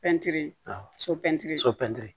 Pɛntiri so pɛntiri so pɛntiri